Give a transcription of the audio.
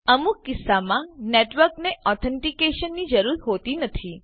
અમુક કીસ્સામાં નેટવર્કને ઓથ્ન્તીકેશનની જરૂર હોતી નથી